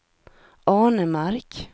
Arnemark